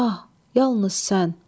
Ah, yalnız sən.